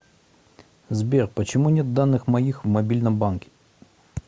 сбер почему нет данных моих в мобильном банке